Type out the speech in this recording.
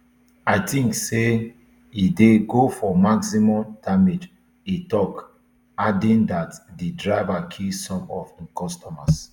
i tink say e dey go for maximum damage e tok adding dat di driver kill some of im customers